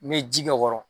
N bɛ ji k'o kɔrɔ